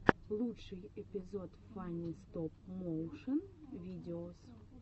лучший эпизод фанни стоп моушен видеос